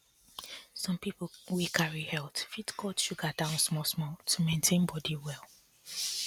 some people wey carry health fit cut sugar down small small to maintain body well